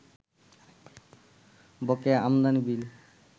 বকেয়া আমদানি বিল